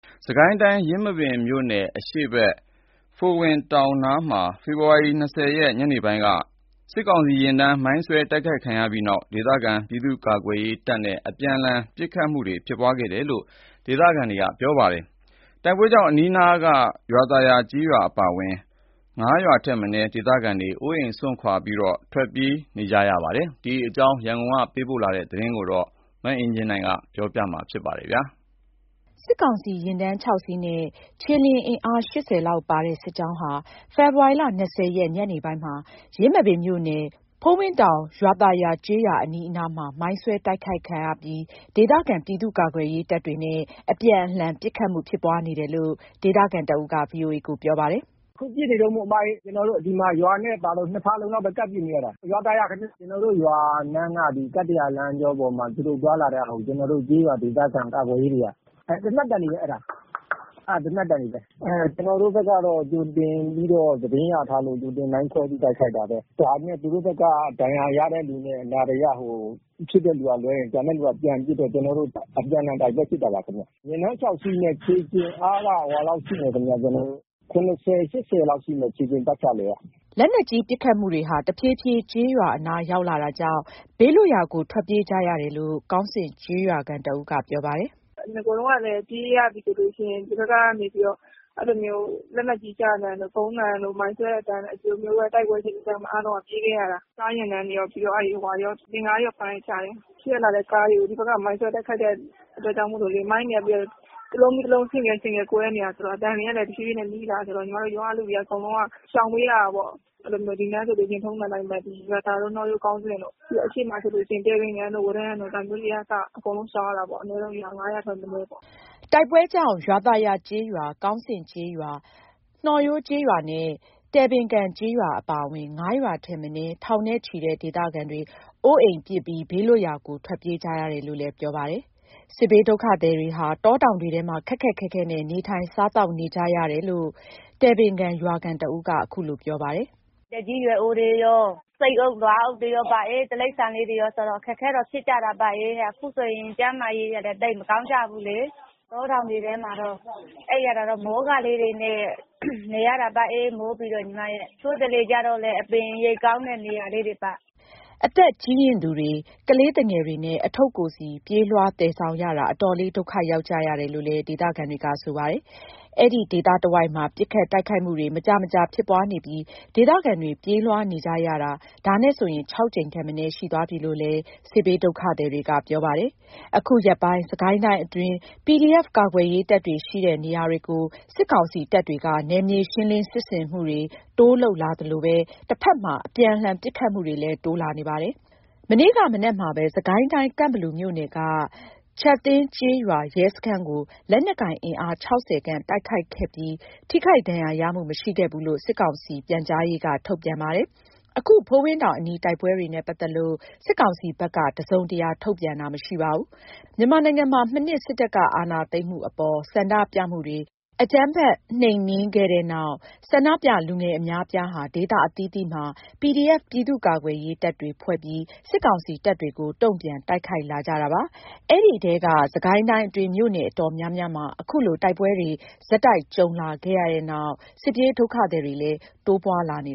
စစ်ကိုင်းတိုင်း ယင်းမာပင်မြို့နယ် အရှေ့ဘက် ဖိုလ်ဝင်တောင်နားမှာ ဖေဖော်ဝါရီ ၂၀ ရက် ညနေပိုင်းက စစ်ကောင်စီယာဉ်တန်းများ မိုင်းဆွဲတိုက်ခိုက်ခံရပြီးနောက် ဒေသခံ ပြည်သူ့ကာကွယ်ရေးတပ်နဲ့ အပြန်အလှန်ပစ်ခတ်မှု ဖြစ်ပွားနေတယ်လို့ ဒေသခံတွေက ပြောပါတယ်။ တိုက်ပွဲကြောင့် အနီးအနားက ရွာသာယာကျေးရွာ အပါအဝင် ၅ ရွာထက်မနည်း ဒေသခံတွေ အိုးပစ်အိမ်ပစ် ဘေးလွတ်ရာကို ထွက်ပြေးနေကြရတယ်လို့ ဆိုပါတယ်။ ဒီအကြောင်း ရန်ကုန်ကလာတဲ့သတင်းကို မအင်ကြင်းနိုင် ပြောပြပါမယ်။ စစ်ကောင်စီယာဉ်တန်း ၆ စီးနဲ့ ခြေလျင်အင်အား ၈၀ လောက်ပါတဲ့ စစ်ကြောင်းဟာ ဖေဖော်ဝါရီ ၂၀ ရက် ညနေပိုင်းမှာ ယင်းမာပင်မြို့နယ် ဖိုလ်ဝင်တောင် ရွာသာယာကျေးရွာ အနီးအနားမှာ မိုင်းဆွဲတိုက်ခိုက်ခံရပြီး ဒေသခံ ပြည်သူ့ကာကွယ်ရေးတပ်တွေနဲ့ အပြန်အလှန်ပစ်ခတ်မှု ဖြစ်ပွားနေတယ်လို့ ဒေသခံတဦးက ဗွီအိုအေကို ပြောပါတယ်။ “အခုပစ်နေတုန်းပေါ့။ ကျနော်တို့ ဒီမှာ ရွာနဲ့ပါဆို ၂ ဖာလုံလောက်ပဲ ကပ်ပစ်နေကြတာ။ ရွာသာယာခင်ဗျ။ ကျနော်တို့ရွာလမ်းက ကတ္တရာလမ်းကျောပေါ်မှာ သူတို့ သွားလာတဲ့ဟာကို ကျနော်တု့ိ ကျေးရွာ ဒေသခံကာကွယ်ရေးတွေက အဲ့…သေနတ်သံတွေ၊ အဲ့ဒါ (အခုကြားနေရတဲ့အသံက ပစ်ခတ်သံတွေပါ) အဲ့ဒါ သေနတ်သံတွေပဲ။ ကျနော်တို့ဘက်က ကြိုတင်ပြီးတော့ သတင်းရထားလို့ မိုင်းခွဲပြီး တိုက်ခိုက်တာပဲ။ ဒါပေမယ့် သူတို့ဘက်က ဒဏ်ရာရတဲ့လူနဲ့ အနာတရဖြစ်တဲ့လူက လွဲရင် ကျန်တဲ့လူက ပြန်ပစ်တော့ ကျနော်တို့ အပြန်အလှန် တိုက်ပွဲဖြစ်တာပါခင်ဗျ။ ယာဉ်တန်း ၆ စီးနဲ့ ခြေလျင်အားက ၇၀၊ ၈၀ လောက်ရှိမယ်။” လက်နက်ကြီးပစ်ခတ်မှုတွေဟာ တဖြည်းဖြည်း ကျေးရွာအနား ရောက်လာတာကြောင့် ဘေးလွတ်ရာကို ထွက်ပြေးကြရတယ်လို့ ကောင်းဆင့်ကျေးရွာခံတဦးက ပြောပါတယ်။ “နဂိုတုန်းကလည်း ပြေးရပြီဆိုလို့ရှိရင် ဒီဘက်ကနေပြီးတော့ အဲ့လိုမျိုး လက်နက်ကြီးကျသံတို့ ဗုံးသံတို့ မိုင်းဆွဲတဲ့အသံတို့ ဒီလိုမျိုးပဲ တိုက်ပွဲအခြေအနေကြောင့် အားလုံးက ပြေးခဲ့ရတာ။ ကားယာဉ်တန်းတွေရော တင့်ကားရော ပါတဲ့ကြားရော အရှေ့ကလာတဲ့ ကားတွေကို ဒီဘက်က မိုင်းဆွဲတိုက်ခိုက်တဲ့ အတွက်ကြောင့်မို့လို့လေ။ မိုင်းတွေက တလုံးပြီးတော့တလုံး ဆင့်ကဲဆင့်ကဲ ကွဲနေတာဆိုတော့ အသံတွေကလည်း တဖြည်းဖြည်းနဲ့ နီးလာတာဆိုတော့ ညီမတို့ရွာက လူတွေက အကုန်လုံးက ရှောင်ပေးရတာပေါ့။ အဲ့လိုမျိုး ဒီနားဆိုလို့ရှိရင် ထုံစံအတိုင်းပဲ ဒီဘက်က နှောရိုး၊ ကောင်းဆင့်တို့ ပြီးတော့ အရှေ့မှာဆိုလို့ရှိရင် တယ်ပင်ကန်တို့၊ ဝရံတို့ ဒါမျိုးတွေကအစ အကုန်လုံးရှောင်ရတာပေ့ါ။ အနည်းဆုံး ရွာ ၅ ရွာထက်မနည်းပေါ့။” တိုက်ပွဲကြောင့် ရွာသာယာကျေးရွာ၊ ကောင်းဆင့်ကျေးရွာ၊ နှောရိုးကျေးရွာနဲ့ တယ်ပင်ကန်ကျေးရွာ အပါအဝင် ၅ ရွာထက်မနည်း ထောင်နဲ့ချီတဲ့ ဒေသခံတွေ အိုးပစ်အိမ်ပစ် ဘေးလွတ်ရာကို ထွက်ပြေးနေကြရတာလို့ ပြောပါတယ်။ စစ်ဘေးဒုက္ခသည်တွေဟာ တောတောင်တွေထဲမှာ ခက်ခက်ခဲခဲနဲ့ နေထိုင်စားသောက်နေကြရတာလို့ တယ်ပင်ကန်ရွာခံတဦးက အခုလို ပြောပါတယ်။ “အသက်ကြီးရွယ်အိုတွေရော၊ ဆိတ်အုပ် နွားအုပ်တွေရောပါအေး၊ တိရစ္ဆာန်လေးတွေရောဆိုတော့ အခက်အခဲတော့ ဖြစ်ကြတာပေါ့။ အခုဆိုရင် ကျန်းမာရေးကလည်း သိပ်မကောင်းကြဘူးလေ။ တောတောင်တွေထဲတော့ အိပ်ရတာတော့ မိုးကာလေးတွေနဲ့ နေရတာပါ မိုးပြီးတော့၊ တချို့တလေကျတော့လည်း အပင်အရိပ်ကောင်းတဲ့ နေရာလေးတွေပါ။” အသက်ကြီးရင့်သူတွေ ကလေးသူငယ်တွေနဲ့ အထုပ်ကိုယ်စီ ပြေးလွှား သယ်ဆောင်ရတာ အတော်လေး ဒုက္ခရောက်နေကြရတယ်လို့ ဒေသခံတွေက ပြောပါတယ်။ အဲ့ဒီဒေသတဝိုက်မှာ ပစ်ခတ်တိုက်ခိုက်မှုတွေ မကြာမကြာ ဖြစ်ပွားနေပြီး ဒေသခံတွေ ပြေးလွှားနေကြရတာ ဒါနဲ့ဆိုရင် ၆ ကြိမ်ထက်မနည်း ရှိသွားပြီလို့ စစ်ဘေးဒုက္ခသည်တွေက ပြောဆိုကြပါတယ်။ အခုရက်ပိုင်း စစ်ကိုင်းတိုင်းအတွင်းက PDF ကာကွယ်ရေးတပ်တွေရှိတဲ့ နေရာတွေကို စစ်ကောင်စီတပ်တွေက နယ်မြေရှင်းလင်း စစ်ဆင်မှုတွေ တိုးလုပ်လာသလိုပဲ တဖက်မှာ အပြန်အလှန် ပစ်ခတ်မှုတွေလည်း တိုးလာနေပါတယ်။ မနေ့က မနက်မှာပဲ စစ်ကိုင်းတိုင်း ကန့်ဘလူမြို့နယ်က ချပ်သင်းကျေးရွာရဲစခန်းကို လက်နက်ကိုင်အင်အား ၆၀ ခန့် တိုက်ခိုက်ခဲ့ပြီး ထိခိုက်ဒဏ်ရာရမှု မရှိခဲ့ဘူးလို့ စစ်ကောင်စီ ပြန်ကြားရေးက ထုတ်ပြန်ပါတယ်။ အခု ဖိုလ်ဝင်တောင်အနီး တိုက်ပွဲနဲ့ ပတ်သက်လို့ စစ်ကောင်စီဘက်က တစုံတရာ ထုတ်ပြန်တာ မရှိပါဘူး။ မြန်မာနိုင်ငံမှာ မနှစ် စစ်တပ်က အာဏာသိမ်းမှုအပေါ် ဆန္ဒပြမှုတွေ အကြမ်းဖက်နှိမ်နင်းခဲ့တဲ့နောက် ဆန္ဒပြလူငယ် အများအပြားဟာ ဒေသအသီးသီးမှာ PDF ပြည်သူ့ကာကွယ်ရေးတပ်တွေ ဖွဲ့ပြီး စစ်ကောင်စီတပ်တွေကို တုံ့ပြန်တိုက်ခိုက်လာကြတာပါ။ အဲဒီကတည်းက စစ်ကိုင်းတိုင်းအတွင်း မြို့နယ်အတော်များများမှာ အခုလို တိုက်ပွဲတွေ ဆက်တိုက်ကြုံလာခဲ့ရတဲ့နောက် စစ်ပြေးဒုက္ခသည်တွေလည်း တိုးပွားလာနေ